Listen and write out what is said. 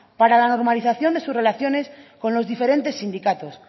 para la normalización de sus relaciones con los diferentes sindicatos